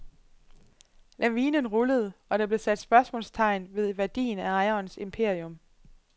Lavinen rullede, og der blev sat spørgsmålstegn ved værdien af ejerens imperium.